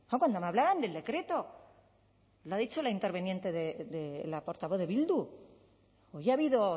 cuando me hablaban del decreto lo ha dicho la interviniente de la portavoz de bildu hoy ha habido